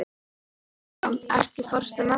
Bergrán, ekki fórstu með þeim?